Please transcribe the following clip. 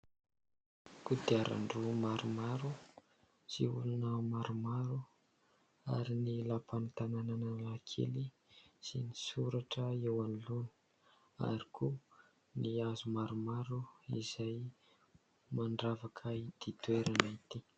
Kodiaran-droa maromaro sy olona maromaro ary ny lapan'ny tananan'Analakely sy ny soratra eo anoloany ary koa ny hazo maromaro izay mandravaka itỳ toerana itỳ.